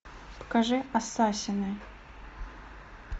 покажи ассасины